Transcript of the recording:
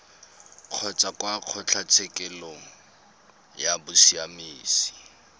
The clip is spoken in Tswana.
kgotsa kwa kgotlatshekelo ya bosiamisi